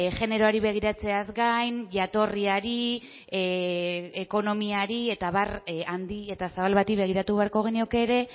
generoari begiratzeaz gain jatorriari ekonomiari eta abar handi eta zabal bati begiratu beharko genioke ere